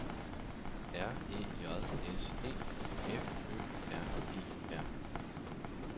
R E J S E F Ø R E R